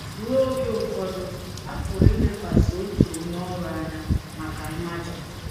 Ruo oge ụfọdụ, a pụrụ ilekwasị otu onye ọrụ anya maka mmaja.